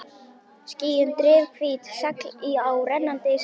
Skýin eru drifhvít segl á rennandi skipi.